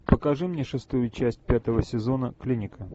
покажи мне шестую часть пятого сезона клиника